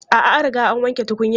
A'a, an riga an wanke tukunyan.